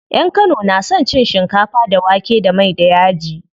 Yan kano na son cin shinkafa da wake da mai da yaji.